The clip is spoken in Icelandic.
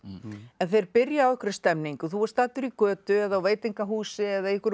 en þeir byrja á einhverri stemningu þú ert staddur í götu eða á veitingahúsi eða í einhverjum